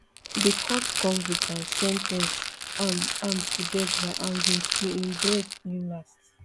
di court convict and sen ten ce am am to death by hanging till im breath im last